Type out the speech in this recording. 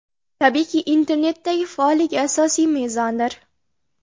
Tabiiyki, internetdagi faolligi asosiy mezondir.